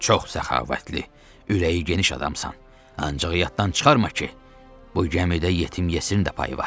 Sən çox səxavətli, ürəyi geniş adamsan, ancaq yaddan çıxarma ki, bu gəmidə yetim yesirin də payı var.